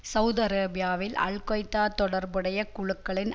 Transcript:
Saudi அரேபியாவில் al Qaeda தொடர்புடைய குழுக்களின்